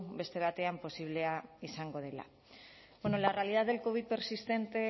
beste batean posible izango dela bueno la realidad del covid persistente